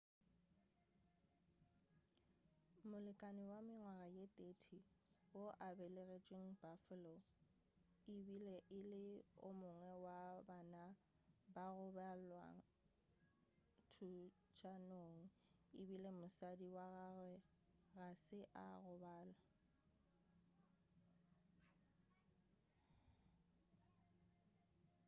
molekani wa mengwaga ye 30 wo a belegetšweng buffalo e be e le o mongwe wa ba bane ba go bolawa thuntšanong efela mosadi wa gagwe ga se a gobalo